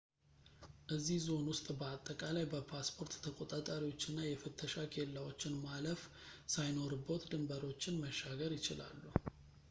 እዚ ዞን ውስጥ በአጠቃላይ በፓስፖርት ተቆጣጣሪዎች እና የፍተሻ ኬላዎችን ማለፍ ሳይኖርቦት ድንብሮችን መሻገር ይችላሉ